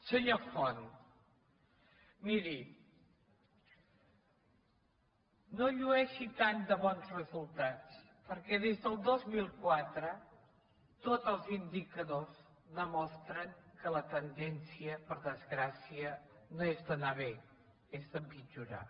senyor font miri no llueixi tant de bons resultats per·què des del dos mil quatre tots els indicadors demostren que la tendència per desgràcia no és d’anar bé és d’empit·jorar